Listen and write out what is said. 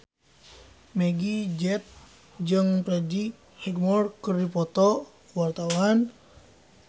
Meggie Z jeung Freddie Highmore keur dipoto ku wartawan